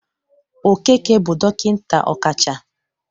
Okeke bụ dọkịnta ọkacha